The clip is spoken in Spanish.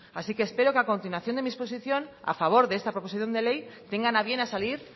así que espero que a continuación de mi exposición a favor de esta proposición de ley tengan a bien a salir